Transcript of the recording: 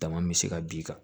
Dama bɛ se ka b'i kan